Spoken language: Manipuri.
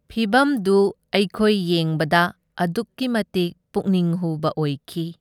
ꯐꯤꯚꯝꯗꯨ ꯑꯩꯈꯣꯏ ꯌꯦꯡꯕꯗ ꯑꯗꯨꯛꯀꯤ ꯃꯇꯤꯛ ꯄꯨꯛꯅꯤꯡ ꯍꯨꯕ ꯑꯣꯏꯈꯤ꯫